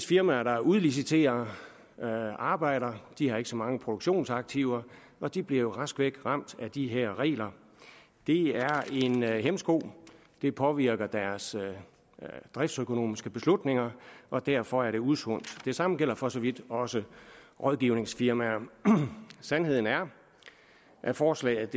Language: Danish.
firmaer der udliciterer arbejde de har ikke så mange produktionsaktiver og de bliver rask væk ramt af de her regler det er en hæmsko det påvirker deres driftsøkonomiske beslutninger og derfor er det usundt det samme gælder for så vidt også rådgivningsfirmaer sandheden er at forslaget